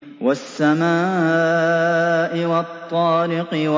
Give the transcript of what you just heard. وَالسَّمَاءِ وَالطَّارِقِ